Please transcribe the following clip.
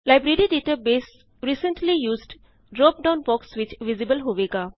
library database recently used drop down box ਵਿਚ visible ਹੋਵੇਗਾ